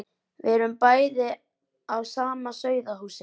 Við erum bæði af sama sauðahúsi.